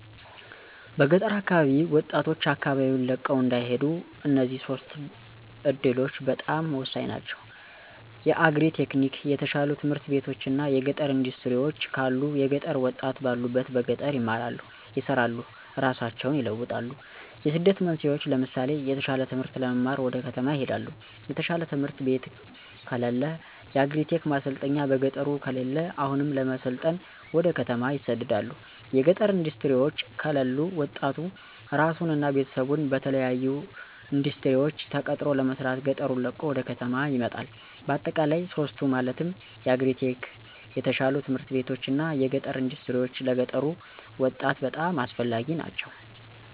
በገጠር አካባቢ ወጣቶች አካባቢወን ለቀው እንዳይሄዱ እነዚህ ሶስቱ እዱሎች በጣም ሆሳኝ ናቸው። የአግሪ-ቴክኒክ፣ የተሻሉ ትምህርት ቤቶች እና የገጠር እንዳስትሪወች ካሉ የገጠሩ ወጣት ባሉበት በገጠር ይማራሉ፣ ይሰራሉ እራሳቸውን ይለውጣሉ። የስደት መንስኤወች ለምሳሌ የተሻለ ትምህርት ለመማር ወደ ከተማ ይሄዳሉ። የተሻለ ትምህርት ቤት ከለለ። የአግሪ-ቴክ ማሰልጠኛ በገጠሩ ከለለ አሁንም ለመሰልጠን ወደ ከተማ ይሰደዳሉ። የገጠር እንዳስትሪወች ከለሉ ወጣቱ እራሱን እና ቤተሰቡን በተለያሉ እንዳስትሪወች ተቀጥሮ ለመስራት ገጠሩን ለቆ ወደ ከተማ ይመጣል። በአጠቃላይ ሶስቱ ማለትም የአግሪ-ቴክ፣ የተሻሉ ት/ቤቶች እና የገጠር እንዳስትሪወች ለገጠሩ ወጣት በጣም አስፈላጊ ናቸው።